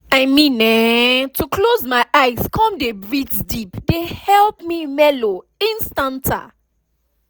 i mean[um]to close my eyes come dey breath deep dey help me mellow instanta